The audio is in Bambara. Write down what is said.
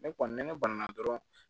Ne kɔni ne banna dɔrɔn